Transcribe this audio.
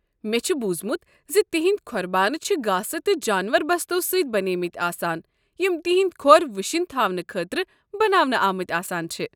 مےٚ چھُ پوٚرمُت زِ تَہندِ کھۄر بانہٕ چھِ گاسہٕ تہٕ جانور بستو سۭتۍ بنیمٕتۍ آسان یم تہندۍ کھۄر وٕشِنۍ تھاونہٕ خٲطرٕ بناونہٕ آمٕتۍ آسان چھِ۔